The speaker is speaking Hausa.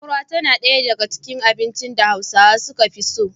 Fura tana ɗaya daga cikin abincin da Hausawa suka fi so.